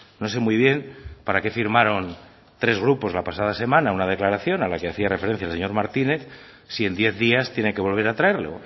no sé muy bien para que firmaron tres grupos la pasada semana una declaración a la que hacía referencia el señor martínez si en diez días tiene que volver a traerlo